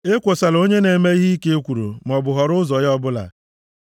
Ekwosola onye na-eme ihe ike ekworo maọbụ họrọ ụzọ ya ọbụla.